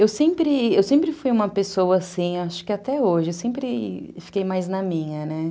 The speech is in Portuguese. Eu sempre, eu sempre fui uma pessoa assim, acho que até hoje, eu sempre fiquei mais na minha, né?